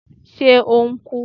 Ṣe o n ku?